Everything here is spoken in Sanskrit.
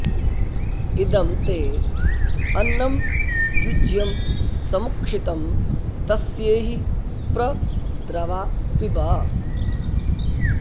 इदं ते अन्नं युज्यं समुक्षितं तस्येहि प्र द्रवा पिब